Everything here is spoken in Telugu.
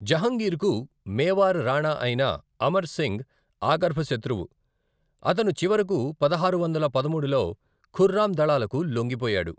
జహంగీర్కు మేవార్ రాణా అయిన అమర్ సింగ్ ఆగర్భ శత్రువు, అతను చివరకు పదహారు వందల పదమూడులో ఖుర్రామ్ దళాలకు లొంగిపోయాడు.